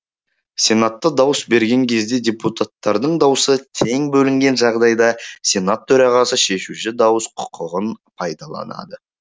сенатта дауыс берген кезде депутаттардың даусы тең бөлінген жағдайда сенат төрағасы шешуші дауыс құқығын пайдаланады